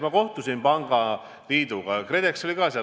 Ma kohtusin pangaliiduga, KredEx oli ka seal.